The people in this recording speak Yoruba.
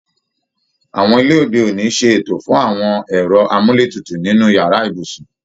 Awọn ilé òde òní ṣe ètò fún àwọn ẹ̀rọ amúletutù nínú yàrá ibùsùn